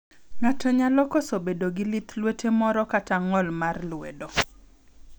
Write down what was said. Ng'ato nyalo koso bedo gi lith luete moro kata ng'ol mar lwedo.